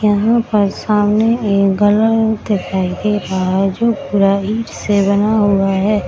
यहाँ पर सामने एक दिखाई दे रहा है जो पूरा ईट से बना हुआ है।